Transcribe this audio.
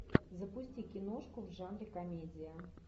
запусти киношку в жанре комедия